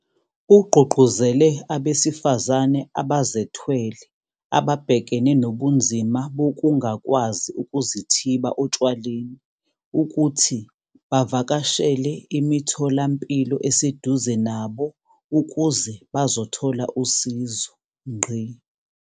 Ugqugquzele abesifazane abazethwele ababhekene nobunzima bokungakwazi ukuzithiba otshwaleni ukuthi bavakashele imitho lampilo eseduze nabo ukuze bezothola usizo.